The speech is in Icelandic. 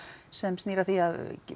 sem snýr að því að